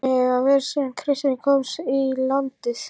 Þannig hefur það verið síðan kristni komst í landið.